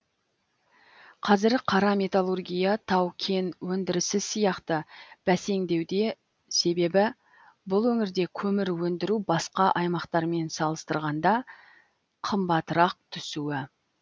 қазір қара металлургия тау кен өндірісі сияқты бәсеңдеуде себебі бұл өңірде көмір өндіру басқа аймақтармен салыстырғанда қымбатырақ түсуі